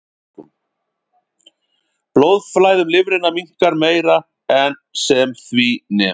Blóðflæði um lifrina minnkar meira en sem því nemur.